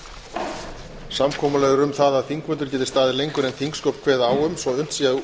samkomulag er um það að þingfundur geti staðið lengur en þingsköp kveða á um svo unnt sé að